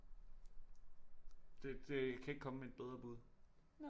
Det det jeg kan ikke komme med et bedre bud